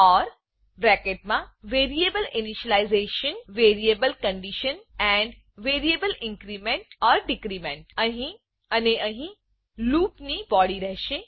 four for variable initialization variable condition and variable increment or decrement અને અહી loop loop ની body રહેશે